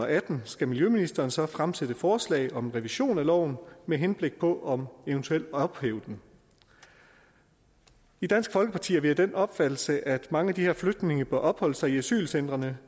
atten skal miljøministeren så fremsætte forslag om revision af loven med henblik på eventuelt at ophæve den i dansk folkeparti er vi af den opfattelse at mange af de her flygtninge bør opholde sig i asylcentrene